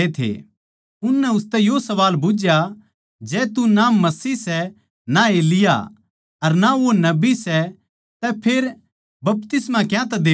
उननै उसतै यो सवाल बुझ्झया जै तू ना मसीह सै अर ना एलिय्याह अर ना वो नबी सै तै फेर बपतिस्मा क्यांतै देवै सै